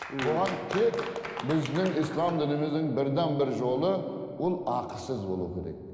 бұған тек біздің ислам дініміздің бірден бір жолы ол ақысыз болуы керек